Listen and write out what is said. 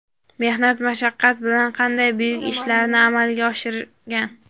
mehnat-mashaqqat bilan qanday buyuk ishlarni amalga oshirgan.